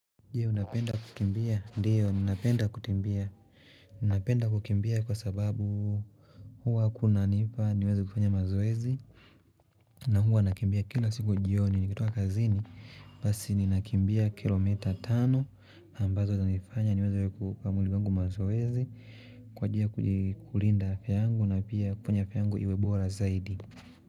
Je unapenda kukimbia? Ndiyo napenda kukimbia. Napenda kukimbia kwa sababu huwa kunanifanya niweze kufanya mazoezi na huwa nakimbia kila siku jioni nikitoka kazini basi ninakimbia kilomita tano ambazo zanifanya niweze kuupa mwili wangu mazoezi kwa njia kulinda afya yangu na pia kufanya afya yangu iwe bora zaidi.